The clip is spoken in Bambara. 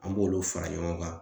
An b'olu fara ɲɔgɔn kan